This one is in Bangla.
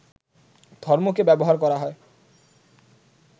ধর্মকে ব্যবহার করা হয়